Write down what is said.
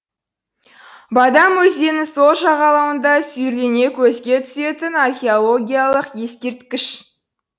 бадам өзенінің сол жағалауында сүйірлене көзге түсетін археологиялық ескерткіш